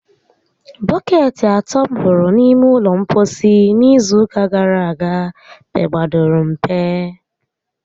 Bọkeetị atọ m hụrụ n'ime ụlọ mposi n' izu ụka gara aga pegbadoro mpe